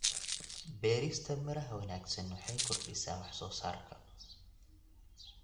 Beerista miraha wanaagsan waxay kordhisaa wax-soo-saarka.